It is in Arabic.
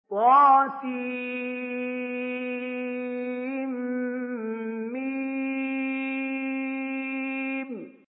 طسم